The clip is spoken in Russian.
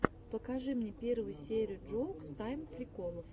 покажи мне первую серию джоукс тайм приколов